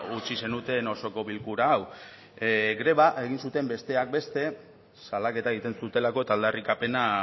utzi zenuten osoko bilkura hau greba egin zuten besteak beste salaketa egiten zutelako eta aldarrikapena